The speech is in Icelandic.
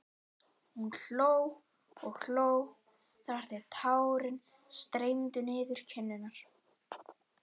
Hún hló og hló þar til tárin streymdu niður kinnarnar.